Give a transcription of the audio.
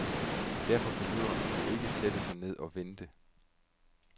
Derfor behøver man jo ikke at sætte sig ned og vente.